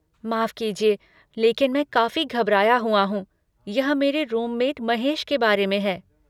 माफ़ कीजिए लेकिन मैं काफी घबराया हुआ हूँ, यह मेरे रूममेट महेश के बारे में है।